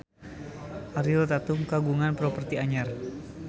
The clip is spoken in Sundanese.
Ariel Tatum kagungan properti anyar